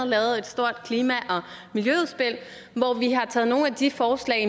lavet et stort klima og miljøudspil hvor vi har taget nogle af de forslag